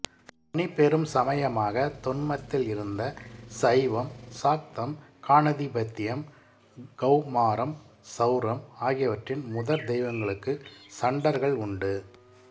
தனிப்பெரும் சமயமாக தொன்மத்தில் இருந்த சைவம் சாக்தம் காணதிபத்தியம் கௌமாரம் சௌரம் ஆகியவற்றின் முதற் தெய்வங்களுக்கு சண்டர்கள் உண்டு